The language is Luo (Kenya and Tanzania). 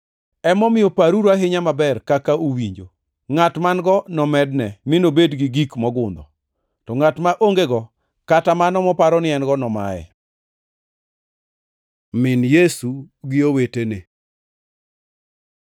Emomiyo paruru ahinya maber kaka uwinjo. Ngʼat man-go nomedne mi nobed gi gik mogundho; to ngʼat ma ongego kata mano moparo ni en-go nomaye.” Min Yesu gi owetene